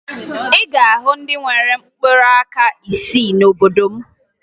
Ị ga-ahụ ndị nwere mkpụrụaka isii n'obodo m